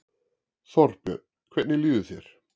Þorbjörn: Hvernig líður þér?